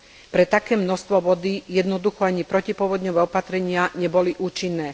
Pre také množstvo vody jednoducho ani protipovodňové opatrenia neboli účinné.